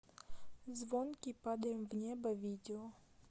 звонкий падаем в небо видео